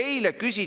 Tuli meelde!